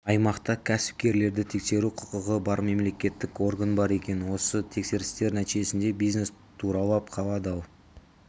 аймақта кәсіпкерлерді тексеруге құқығы бар мемлекеттік орган бар екен осы тексерістер нәтижесінде бизнес тұралап қалады ал